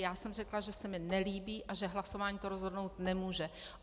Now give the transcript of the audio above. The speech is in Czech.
Já jsem řekla, že se mi nelíbí a že hlasování to rozhodnout nemůže.